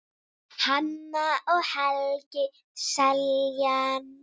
Hanna og Helgi Seljan.